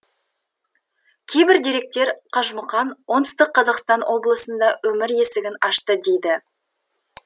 кейбір деректер қажымұқан оңтүстік қазақстан облысында өмір есігін ашты дейді